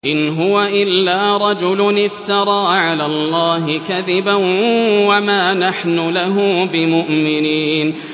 إِنْ هُوَ إِلَّا رَجُلٌ افْتَرَىٰ عَلَى اللَّهِ كَذِبًا وَمَا نَحْنُ لَهُ بِمُؤْمِنِينَ